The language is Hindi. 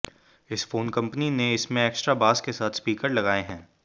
इस फोन में कंपनी ने इसमें एक्स्ट्रा बास के साथ स्पीकर लगाए हैं